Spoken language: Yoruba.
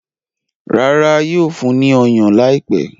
Rárá, yóò fún ní ọyàn láìpẹ́.